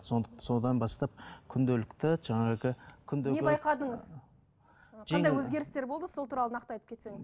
содан бастап күнделікті жаңағы күндегі қандай өзгерістер болды сол туралы нақты айтып кетсеңіз